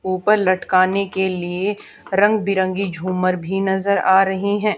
ऊपर लटकाने के लिए रंग बिरंगी झूमर भी नजर आ रही हैं।